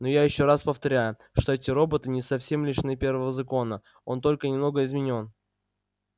но я ещё раз повторяю что эти роботы не совсем лишены первого закона он только немного изменён